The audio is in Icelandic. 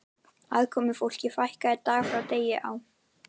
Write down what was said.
Aðkomufólki fækkaði dag frá degi á